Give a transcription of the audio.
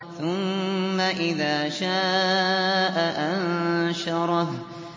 ثُمَّ إِذَا شَاءَ أَنشَرَهُ